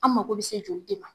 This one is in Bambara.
An mago bi se joli de ma.